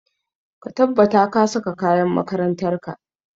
Ka tabbata ka saka kayan makarantar ka!